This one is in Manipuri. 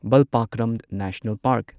Balpakram national park